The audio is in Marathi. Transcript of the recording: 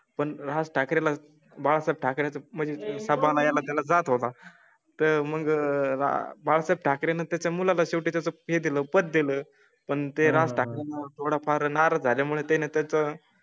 पण राज ठाकरे ला बाळासाहेब ठाकरें चं म्हणजे सांभाळणाऱ्या त्या ला जात होता तर मग आह बाळासाहेब ठाकरे ने त्याच्या मुला ला शेवटी तुमहे दिल पद दिले पण तेरा टाळा फार नाराज झाल्या मुळे त्याने त्या चं.